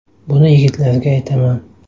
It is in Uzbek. Buni yigitlarga aytaman.